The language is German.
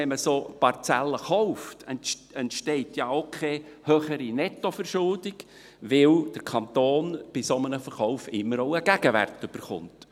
Wenn man solche Parzellen kauft, entsteht ja auch keine höhere Nettoverschuldung, weil der Kanton bei einem solchen Verkauf immer auch einen Gegenwert erhält.